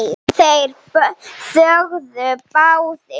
Þeir þögðu báðir.